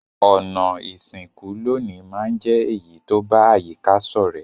Ònà ìsìnkú loní ma n je èyí to ba àyíká sọ̀rẹ́